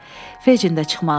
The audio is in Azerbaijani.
Feccin də çıxmaq istəyirdi.